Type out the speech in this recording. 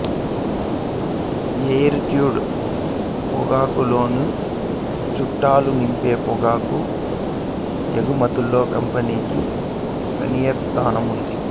air cured పొగాకులోనూ చుట్టలు నింపే పొగాకు ఎగుమతుల్లో కంపెనీకి ప్రీమియర్ స్థానం ఉంది